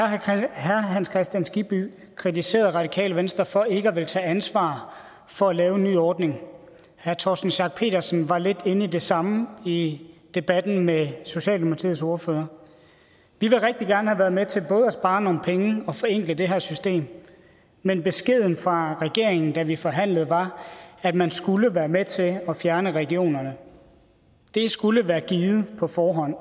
herre hans kristian skibby kritiserede radikale venstre for ikke at ville tage ansvar for at lave en ny ordning og herre torsten schack pedersen var lidt inde på det samme i debatten med socialdemokratiets ordfører vi ville rigtig gerne have været med til både at spare nogle penge og forenkle det her system men beskeden fra regeringen da vi forhandlede var at man skulle være med til at fjerne regionerne det skulle være givet på forhånd